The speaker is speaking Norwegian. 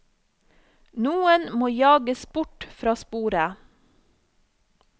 Noen må jages bort fra sporet.